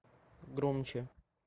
громче